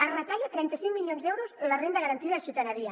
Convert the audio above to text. es retallen trenta cinc milions d’euros a la renda garantida de ciutadania